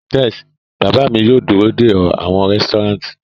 Tes, baba mi yoo duro de ọ awọn resturant